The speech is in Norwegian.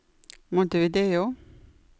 Montevideo